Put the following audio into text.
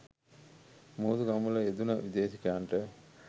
මුහුදු ගමන්වල යෙදුණ විදේශිකයන්ට